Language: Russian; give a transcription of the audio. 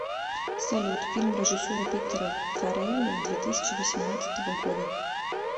салют фильм режиссера питера фарелли две тысячи восемнадцатого года